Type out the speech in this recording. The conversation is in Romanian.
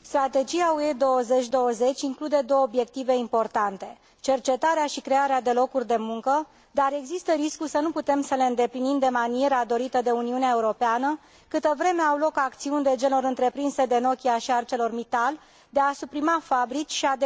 Strategia UE 2020 include două obiective importante, cercetarea și crearea de locuri de muncă, dar există riscul să nu putem să le îndeplinim de maniera dorită de Uniunea Europeană, câtă vreme au loc acțiuni de genul celor întreprinse de Nokia și Arcelor Mittal de a suprima fabrici și a